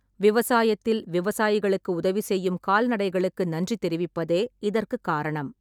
விவசாயத்தில் விவசாயிகளுக்கு உதவி செய்யும் கால்நடைகளுக்கு நன்றி தெரிவிப்பதே இதற்குக் காரணம்.